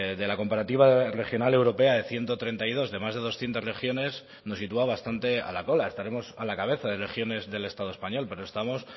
de la comparativa regional europea de ciento treinta y dos de más de doscientos regiones nos sitúa bastante a la cola estaremos a la cabeza de regiones del estado español pero estamos